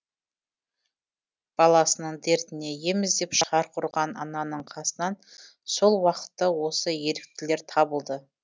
баласының дертіне ем іздеп шарқ ұрған ананың қасынан сол уақытта осы еріктілер табылды